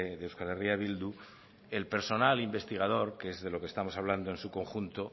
de euskal herria bildu el personal investigador que es de lo que estamos hablando en su conjunto